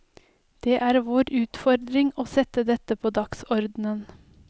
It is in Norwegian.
Det er vår utfordring å sette dette på dagsordenen.